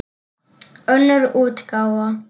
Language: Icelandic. Önnur útgáfa.